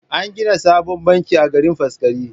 An gina sabon banki a garin Faskari.